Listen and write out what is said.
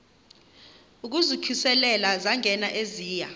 ukuzikhusela zangena eziya